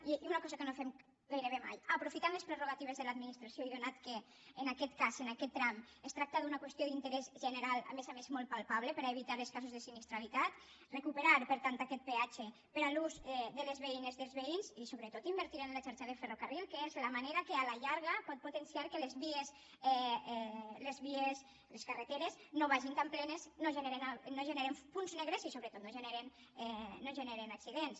i una cosa que no fem gairebé mai aprofitant les prerrogatives de l’ad·ministració i atès que en aquest cas en aquest tram es tracta d’una qüestió d’interès general a més a més molt palpable per a evitar els casos de sinistralitat re·cuperar per tant aquest peatge per a l’ús de les veï·nes dels veïns i sobretot invertir en la xarxa de fer·rocarril que és la manera que a la llarga pot potenciar que les vies les carreteres no vagin tan plenes no ge·neren punts negres i sobretot no generen accidents